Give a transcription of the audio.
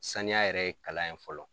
Saniya yɛrɛ ye kalan ye fɔlɔ.